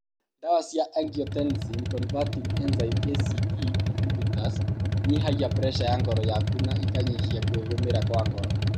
Ndawa cia Angiotensin converting enzyme (ACE) inhibitors inyihagia preca ya ngoro yaku na ikanyihia kwĩgũmĩra kwa ngoro